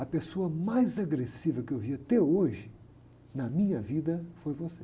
A pessoa mais agressiva que eu vi até hoje na minha vida foi você.